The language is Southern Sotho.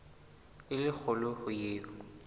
e le kgolo ho eo